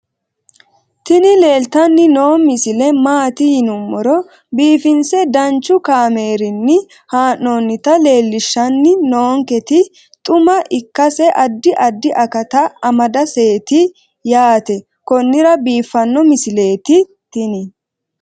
tini leeltanni noo misile maaati yiniro biifinse danchu kaamerinni haa'noonnita leellishshanni nonketi xuma ikkase addi addi akata amadaseeti yaate konnira biiffanno misileeti tini